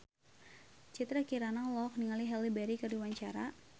Citra Kirana olohok ningali Halle Berry keur diwawancara